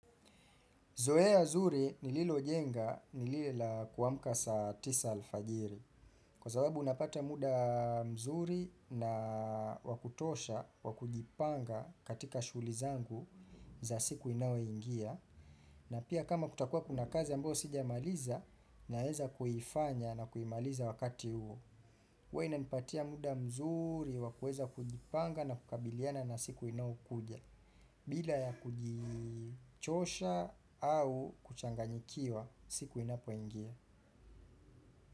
Zoea ya nzuri nililo jenga nilile kuamka sa tisa alfajiri. Kwa zababu unapata muda mzuri na wakutosha, wakujipanga katika shughuli zangu za siku inayo ingia. Na pia kama kutakuwa kuna kazi ambao sija maliza naweza kifanya na kuimaliza wakati huo. Guwa inipatia muda mzuri, wakuweza kujipanga na kukabiliana na siku inao kuja. Bila ya kujichosha au kuchanganyikiwa siku inapo ingia.